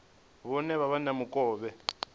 vhone vha vhe na mukovhe